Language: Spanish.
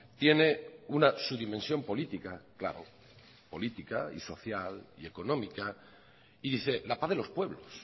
tiene una subdimensión política claro política y social y económica y dice la paz de los pueblos